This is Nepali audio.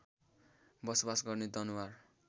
बसोवास गर्ने दनुवार